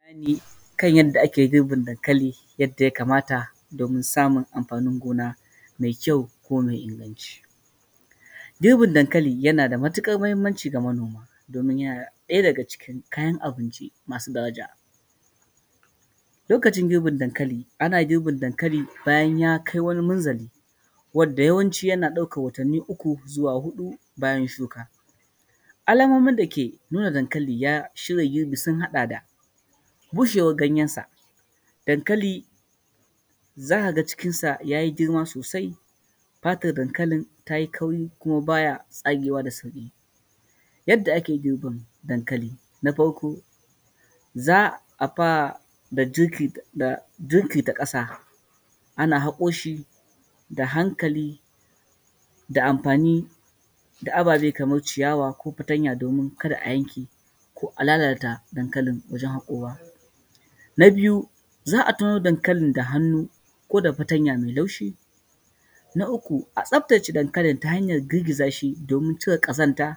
Zan yi bayani kan yadda ake girbin dankali yadda ya kamata domin samun amfanin gona mai kyau kuma mai inganci, girbin dankali yana da matuƙar muhimmaci ga manoma domin yana ɗaya daga cikin kayan abinci masu daraja, lokacin girbin dankali ana girbin dankali bayan ya kai wani munzali wanda yawanci yana ɗaukan watanni uku zuwa huɗu bayan shuka, alamomin da ke nuna dankali ya shirya girbi sun haɗa da, bushewar ganyarsa, dankali zaka ga cikinsa yayi girma sosai fatan dankali tayi kauri kuma baya tsagewa da sauki, yadda ake girbin dankali, na farko za a fara da jingirta kasa ana haƙo shi da hankali da amfani da ababe kamar ciyawa ko fatanya kada a yanke domin kada a yanke ko a lalata dankali wajen hakowa, na biyu za a taro dankalin da hannu ko da fataya mai laushi, na uku a tsaftace dankalin ta hanyar girgiza shi domin cire kazanta